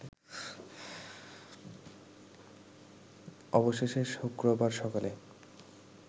অবশেষে শুক্রবার সকালে